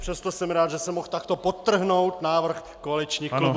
Přesto jsem rád, že jsem mohl takto podtrhnout návrh koaličních klubů.